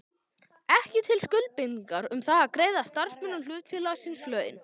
ekki til skuldbindingar um það að greiða starfsmönnum hlutafélagsins laun.